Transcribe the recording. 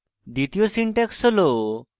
দ্বিতীয় syntax হল: